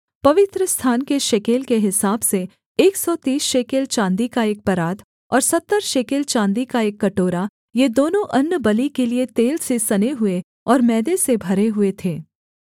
अर्थात् पवित्रस्थान के शेकेल के हिसाब से एक सौ तीस शेकेल चाँदी का एक परात और सत्तर शेकेल चाँदी का एक कटोरा ये दोनों अन्नबलि के लिये तेल से सने हुए और मैदे से भरे हुए थे